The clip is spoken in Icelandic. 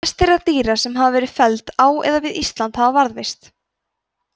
fæst þeirra dýra sem felld hafa verið á eða við ísland hafa varðveist